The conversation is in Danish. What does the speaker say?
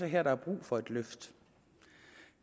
her der er brug for et løft